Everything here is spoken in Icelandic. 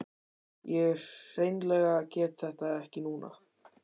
Ég hreinlega get þetta ekki núna.